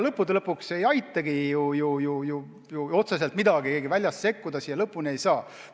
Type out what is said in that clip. Lõppude lõpuks ei aitagi otseselt midagi, keegi väljast sellesse otsustavalt sekkuda ei saa.